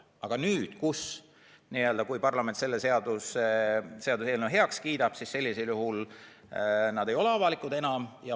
Aga kui parlament selle seaduseelnõu heaks kiidab, siis need ei ole enam avalikud.